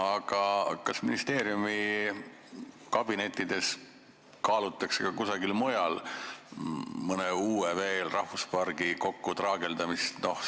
Aga kas ministeeriumi kabinettides kaalutakse ka kusagil mujal veel mõne uue rahvuspargi kokkutraageldamist?